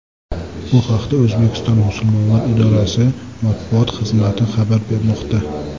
Bu haqda O‘zbekiston musulmonlari idorasi matbuot xizmati xabar bermoqda .